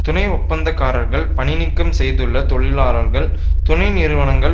துணை ஒப்பந்தக்காரர்கள் பணிநீக்கம் செய்துள்ள தொழிலாளர்கள் துணை நிறுவனங்கள்